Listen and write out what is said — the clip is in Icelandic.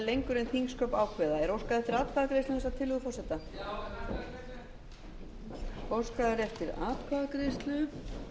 lengur en þingsköp ákveða er óskað eftir atkvæðagreiðslu um þessa tillögu forseta óskað er eftir atkvæðagreiðslu